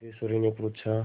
सिद्धेश्वरीने पूछा